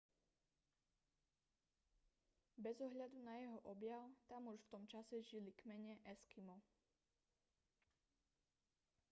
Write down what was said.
bez ohľadu na jeho objav tam už v tom čase žili kmene eskimo